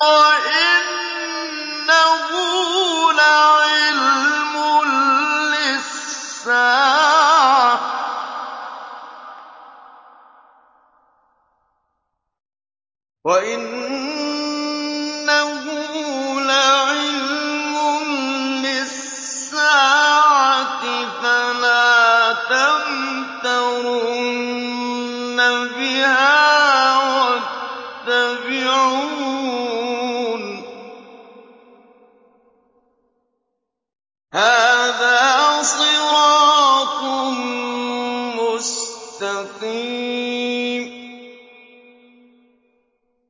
وَإِنَّهُ لَعِلْمٌ لِّلسَّاعَةِ فَلَا تَمْتَرُنَّ بِهَا وَاتَّبِعُونِ ۚ هَٰذَا صِرَاطٌ مُّسْتَقِيمٌ